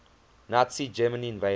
nazi germany invaded